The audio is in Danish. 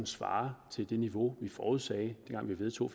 svarer til det niveau vi forudsagde dengang vi vedtog